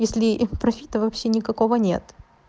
если профита вообще никакого нет